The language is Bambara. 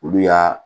Olu y'a